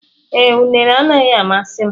Ee, unere anaghị amasị m.